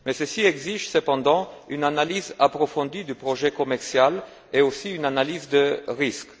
Mais ceci exige cependant une analyse approfondie du projet commercial ainsi qu'une analyse de risque.